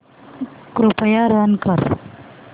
कृपया रन कर